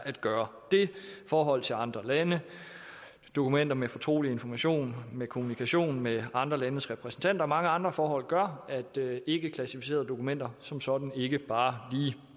at gøre forhold til andre lande dokumenter med fortrolig information kommunikation med andre landes repræsentanter og mange andre forhold gør at ikkeklassificerede dokumenter som sådan ikke bare lige